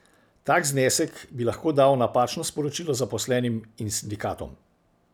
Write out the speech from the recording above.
Tak znesek bi lahko dal napačno sporočilo zaposlenim in sindikatom.